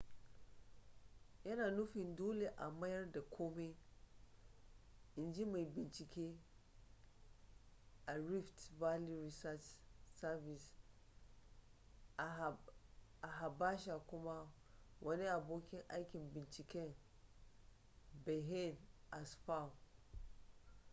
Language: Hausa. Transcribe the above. yana nufin dole a mayar da komai in ji mai binciken a rift valley research service a habasha kuma wani abokin aikin binciken berhane asfaw